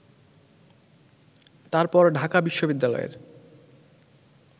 তারপর ঢাকা বিশ্ববিদ্যালয়ের